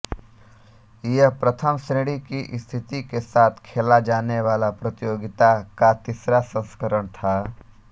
यह प्रथम श्रेणी की स्थिति के साथ खेला जाने वाला प्रतियोगिता का तीसरा संस्करण था